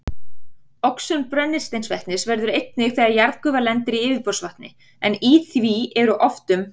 Oxun brennisteinsvetnis verður einnig þegar jarðgufa lendir í yfirborðsvatni, en í því eru oft um